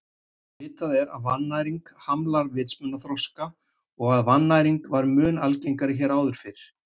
Vitað er að vannæring hamlar vitsmunaþroska og að vannæring var mun algengari hér áður fyrr.